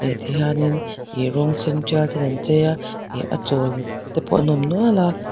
eti hianin ih rawng sen tial ten an chei a ih a chawl te pawh an awm nual a.